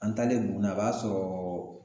An taalen buguni a b'a sɔrɔɔ